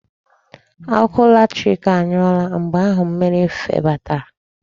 Ọkụ latrik anyụọla mgbe ahụ mmiri febatara.